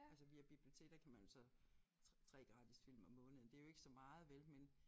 Altså via bibliotek der kan man jo så 3 gratis film om måneden det jo ikke så meget vel men